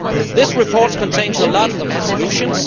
This report contains many of the solutions.